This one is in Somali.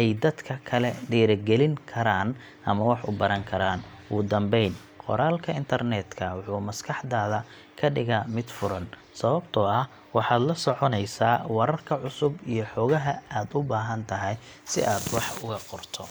ay dadka kale dhiirrigelin karaan ama wax u baran karaan. Ugu dambeyn, qoraalka internetka wuxuu maskaxdaada ka dhigaa mid furan, sababtoo ah waxaad la soconaysaa wararka cusub iyo xogaha aad u baahan tahay si aad wax uga qorto.